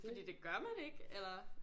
Fordi det gør man ikke eller